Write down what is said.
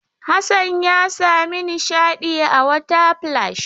Hassan ya sami nishaɗi a water splash.